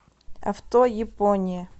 авто япония